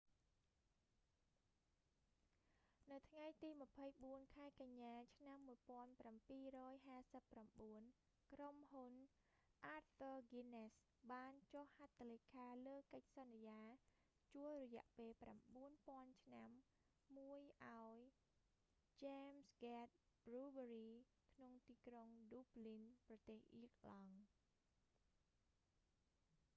នៅថ្ងៃទី 24 ខែកញ្ញាឆ្នាំ 1759 ក្រុមហ៊ុន arthur guinness បានចុះហត្ថលេខាលើកិច្ចសន្យាជួលរយៈពេល 9,000 ឆ្នាំមួយឱ្យ st james' gate brewery ក្នុងទីក្រុង dublin ប្រទេសអៀរឡង់